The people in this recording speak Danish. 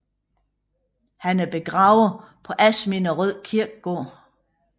Han er begravet på Asminderød Kirkegård